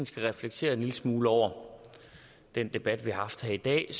skal reflektere en lille smule over den debat vi har haft her i dag